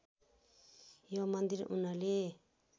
यो मन्दिर उनले